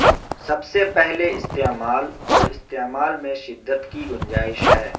سب سے پہلے استعمال اور استعمال میں شدت کی گنجائش ہے